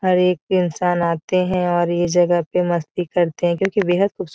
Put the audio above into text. हर एक इंसान आते है और ये जगह पे मस्ती करते है क्योंकि बेहद खूबसूरत --